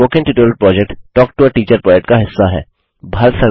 spoken tutorial project talk to a teacher project का हिस्सा है